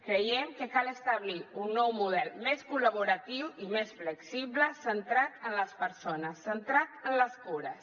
creiem que cal establir un nou model més col·laboratiu i més flexible centrat en les persones centrat en les cures